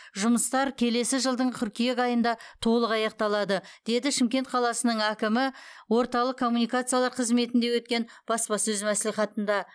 жұмыстар келесі жылдың қыркүйек айында толық аяқталады деді шымкент қаласының әкімі орталық коммуникациялар қызметінде өткен баспасөз мәслихатында